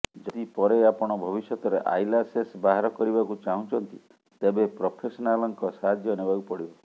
ଯଦି ପରେ ଆପଣ ଭବିଷ୍ୟତରେ ଆଇଲାଶେସ୍ ବାହାର କରିବାକୁ ଚାହୁଁଛନ୍ତି ତେବେ ପ୍ରଫେସନାଲ୍ଙ୍କ ସାହାଯ୍ୟ ନେବାକୁ ପଡ଼ିବ